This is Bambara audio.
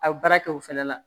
A baara kɛ o fɛnɛ la